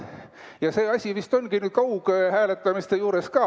Ja see asi vist ongi nii kaughääletamiste puhul ka.